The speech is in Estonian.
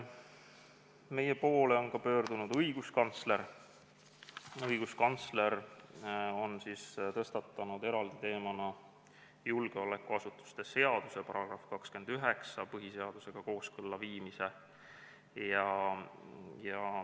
Meie poole on ka pöördunud õiguskantsler, kes tõstatas eraldi teemana julgeolekuasutuste seaduse § 29 põhiseadusega kooskõlla viimise.